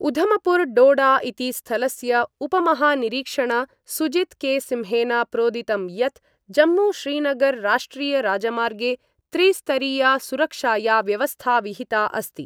उधमपुर डोडा इति स्थलस्य उपमहानिरीक्षण सुजीत के सिंहेन प्रोदितं यत् जम्मूश्रीनगर राष्ट्रियराजमार्गे त्रिस्तरीया सुरक्षाया व्यवस्था विहिता अस्ति।